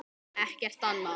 Ekkert annað.